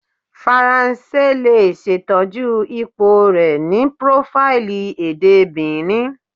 Faranse le ṣetọju ipo rẹ ni profaili ede Benin